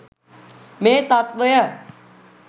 මේ තත්ත්වය